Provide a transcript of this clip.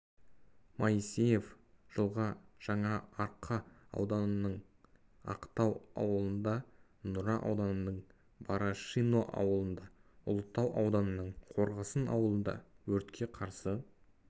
моисеев жылға жаңаарқа ауданының ақтау ауылында нұра ауданының барашино ауылында ұлытау ауданының қорғасын ауылында өртке қарсы